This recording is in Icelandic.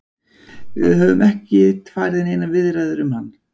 Við höfum ekkert farið í neinar viðræður um hann.